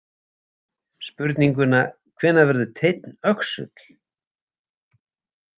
Spurninguna „Hvenær verður teinn öxull?“